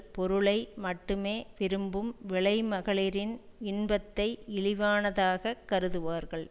பொருளை மட்டுமே விரும்பும் விலைமகளிரின் இன்பத்தை இழிவானதாகக் கருதுவார்கள்